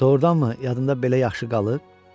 Doğrudanmı yadında belə yaxşı qalıb?